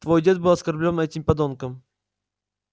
твой дед был оскорблён этим подонком